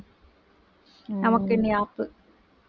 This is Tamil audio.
நமக்கு இனி ஆப்பு